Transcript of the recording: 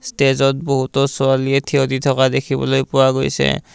ষ্টেজত বহুতো ছোৱালীয়ে থিয়দি থকা দেখিবলৈ পোৱা গৈছে।